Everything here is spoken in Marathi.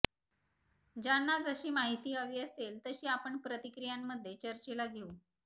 ज्यांना जशी माहिती हवी असेल तशी आपण प्रतिक्रियांमध्ये चर्चेला घेऊ